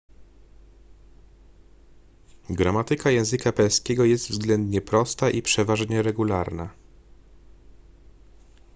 gramatyka języka perskiego jest względnie prosta i przeważnie regularna